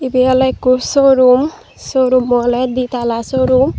ebay oley ekku showroom showroom oley ditala showroom.